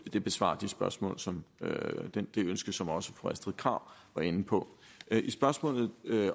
det besvarer det spørgsmål som som også fru astrid krag var inde på i spørgsmålet